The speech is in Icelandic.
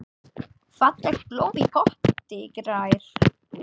Fallegt blóm í potti grær.